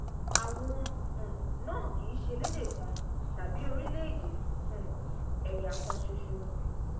àwọn um náà kì í ṣe ẹlẹdẹ kan tàbí orílẹèdè um ẹyà kan ṣoṣo